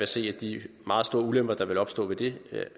se at de meget store ulemper der ville opstå ved det